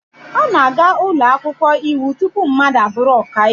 A na-aga ụlọ akwụkwọ iwu tupu mmadụ abụrụ ọka iwu.